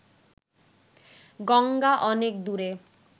গঙ্গা অনেক দূরে